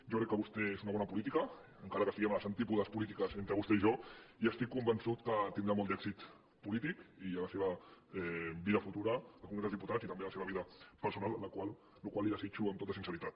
jo crec que vostè és una bona política encara que esti·guem a les antípodes polítiques entre vostè i jo i estic convençut que tindrà molt d’èxit polític i a la seva vida futura al congrés dels diputats i també a la seva vida personal la qual cosa li desitjo amb tota since·ritat